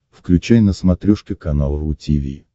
включай на смотрешке канал ру ти ви